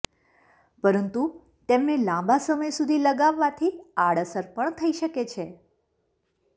પરંતુ તેમને લાંબા સમય સુધી લગાવવાથી આડઅસર પણ થઈ શકે છે